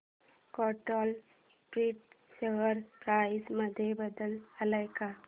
control print share price मध्ये बदल आलाय का